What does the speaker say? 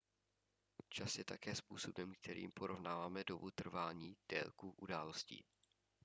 čas je také způsobem kterým porovnáváme dobu trvání délku událostí